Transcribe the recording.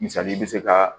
Misali i bɛ se ka